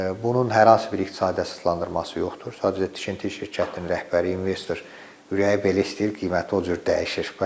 Bunun hər hansı bir iqtisadi əsaslandırması yoxdur, sadəcə tikinti şirkətinin rəhbəri, investor ürəyi belə istəyir, qiyməti o cür dəyişir.